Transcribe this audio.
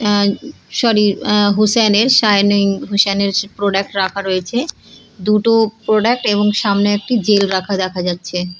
আহ sorry আহ হুসেনের shining হুসেনের প্রোডাক্ট রাখা রয়েছে দুটো প্রোডাক্ট এবং সামনে একটি জেল রাখা দেখা যাচ্ছে।